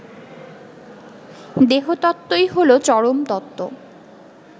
দেহতত্ত্বই হলো চরমতত্ত্ব